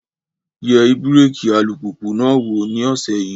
Yẹ ibẹ̀rẹ̀kì alùpùpù náà wò ní ọ̀sẹ̀ yìí.